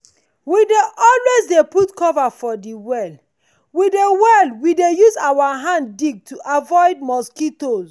we dey always dey put cover for de well we de well we use our hand take dig to avoid mosquitoes.